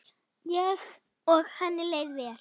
Og henni leið vel.